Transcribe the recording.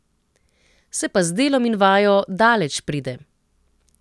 Se pa z delom in vajo daleč pride.